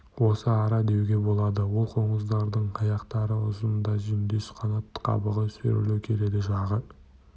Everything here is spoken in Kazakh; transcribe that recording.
осы ара деуге болады ол қоңыздардың аяқтары ұзын да жүндес қанат қабығы сүйірлеу келеді жағы